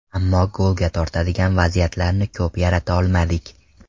Ammo golga tortadigan vaziyatlarni ko‘p yarata olmadik.